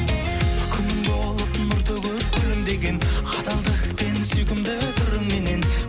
күнім болып нұр төгіп күлімдеген адалдық пен сүйкімді қырыменен